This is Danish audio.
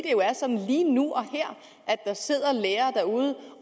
jo er sådan lige nu og her at der sidder lærere